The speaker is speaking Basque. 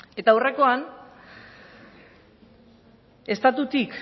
eta aurrekoan estatutik